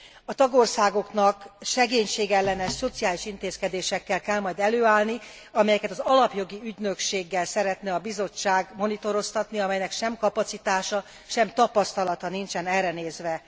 A tagországoknak szegénységellenes szociális intézkedésekkel kell majd előállni, amelyeket az Alapjogi Ügynökséggel szeretne a Bizottság monitoroztatni, amelynek sem kapacitása, sem tapasztalata nincsen erre nézve.